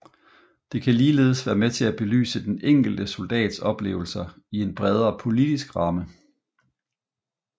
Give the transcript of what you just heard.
Det kan ligeledes være med til at belyse den enkelte soldats oplevelser i en bredere politisk ramme